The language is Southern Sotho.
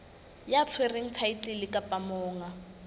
ya tshwereng thaetlele kapa monga